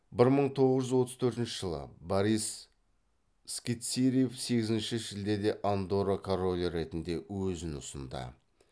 бір мың тоғыз жүз отыз төртінші жылы борис скицириев сегізінші шілдеде андорра королі ретінде өзін ұсынды